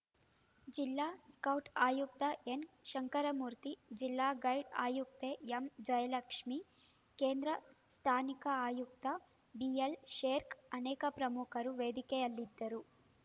ಜಿಲ್ಲಾ ಸ್ಕೌಟ್‌ ಆಯುಕ್ತ ಎನ್‌ಶಂಕರಮೂರ್ತಿ ಜಿಲ್ಲಾ ಗೈಡ್‌ ಆಯುಕ್ತೆ ಎಂಜಯಲಕ್ಷ್ಮೇ ಕೇಂದ್ರ ಸ್ಥಾನಿಕ ಆಯುಕ್ತ ಬಿಎಲ್‌ಶೇರ್ಕ್ ಅನೇಕ ಪ್ರಮುಖರು ವೇದಿಕೆಯಲ್ಲಿದ್ದರು